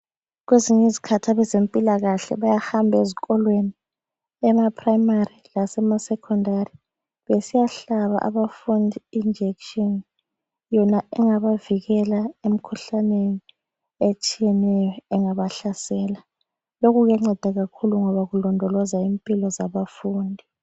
Kwezinye izikhathi abeze mpilakahle bayahamba ezikolweni ema primary lasema secondary besiya hlaba abafundi injekishini yona engabavikela emkhuhlaneni etshiyeneyo engabahlasela lokhu kuyanceda kakhulu ngoba kulondoloza impilo zabafundi